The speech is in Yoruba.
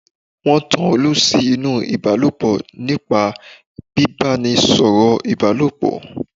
Wọ́n tan olú sí nú Ìbálòpọ̀ nípa bíbánisọ̀rọ̀ Ìbálòpọ̀